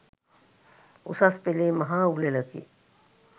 උසස් පෙළේ මහා උළෙලකි.